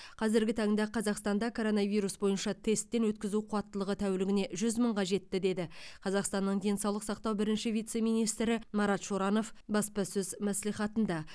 қазіргі таңда қазақстанда коронавирус бойынша тесттен өткізу қуаттылығы тәулігіне жүз мыңға жетті деді қазақстанның денсаулық сақтау бірінші вице министрі марат шоранов баспасөз мәслихатында